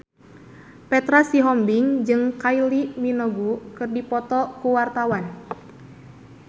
Petra Sihombing jeung Kylie Minogue keur dipoto ku wartawan